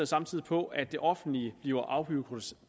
samtidig på at det offentlige bliver afbureaukratiseret